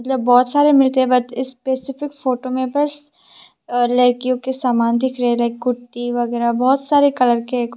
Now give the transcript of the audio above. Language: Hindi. जब बहुत सारे मिलके इस स्पेसिफिक फोटो में बस लड़कियों के सामान दिख रहे लाइक कुर्ती वगैरा बहुत सारे कलर के--